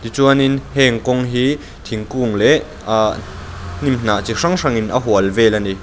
tichuanin heng kawng hi thingkung leh ahh hnim hnah chi hrang hrang in a hual vel ani.